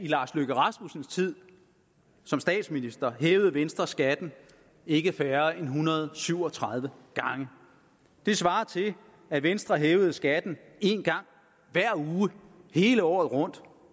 lars løkke rasmussens tid som statsminister hævede venstre skatten ikke færre end en hundrede og syv og tredive gange det svarer til at venstre hævede skatten en gang hver uge hele året rundt